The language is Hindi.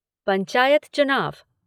पंचायत चुनाव